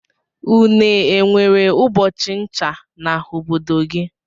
Une enwere ubọchi ncha na obodo gi?